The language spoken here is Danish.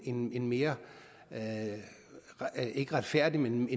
en en mere ikke retfærdig men